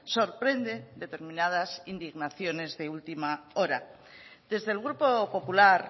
sorprende determinadas indignaciones de última hora desde el grupo popular